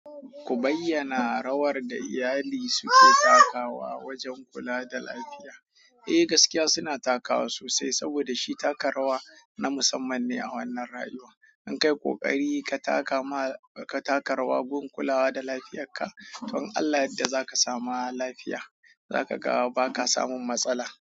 Ku bayyana rawar da iyali suke takawa wajen kula da lafiya. Eh gaskiya suna takawa sosai saboda shi taka rawa na musamman ne a wannan rayuwa. In kai ƙoƙari ka taka rawa wurin kulawa da lafiyarka, to in Allah ya yadda zaka samu lafiya zaka ga baka samun matsala.